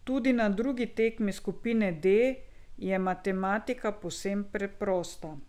Tudi na drugi tekmi skupine D je matematika povsem preprosta.